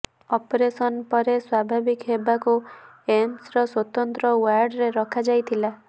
operation ପରେ ସ୍ବାଭାବିକ୍ ହେବାକୁ ଏମ୍ସର ସ୍ବତନ୍ତ୍ର ଓ୍ବାର୍ଡରେ ରଖାଯାଇଥିଲା